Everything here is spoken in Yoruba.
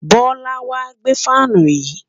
Bola n wa gbe fan yii